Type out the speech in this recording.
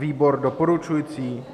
Výbor doporučuje.